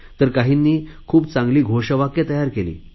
तर काहींनी खूप चांगली घोषवाक्ये तयार केली